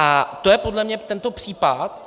A to je podle mě tento případ.